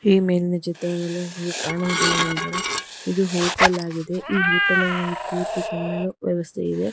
ಈ ಮೇಲಿನ ಚಿತ್ರದಲ್ಲಿ ಕಾಣುವುದೆನೆಂದರೆ ಇದು ಹೋಟೆಲ್ ಆಗಿದೆ ಈ ಹೋಟೆಲ್ನಲ್ಲಿ ಕೂತು ತಿನ್ನಲು ವ್ಯವಸ್ಥೆ ಇದೆ.